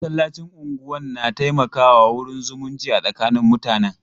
Masallacin unguwan na taimaka wa wurin zumunci a tsakanin mutanen.